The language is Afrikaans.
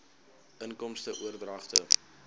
inkomste oordragte